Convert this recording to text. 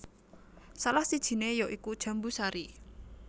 Salah sijiné ya iku jambu sari